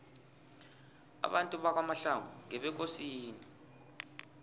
abantu bakwamahlangu ngebekosini